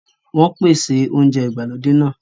Wọn ń pèsè oúnjẹ ìgbàlódé náà